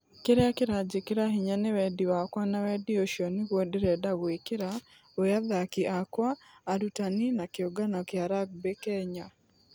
Kĩrĩa kĩranjĩkĩra hinya nĩ wendi wakwa na wendi ũcio nĩguo ndĩrenda gũikira gwe athaki akwa, arutani na kĩũngano gia rugby kenya.